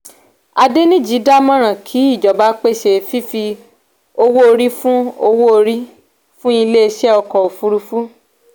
adeniji dámọ̀ràn kí ìjọba pèsè fífi owó orí fún owó orí fún ilé iṣẹ́ ọkọ̀ òfuurufú.